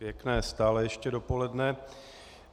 Pěkné stále ještě dopoledne.